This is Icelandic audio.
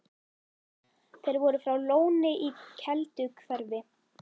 Þeir voru frá Lóni í Kelduhverfi.